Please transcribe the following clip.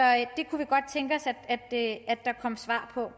det os at der kom svar på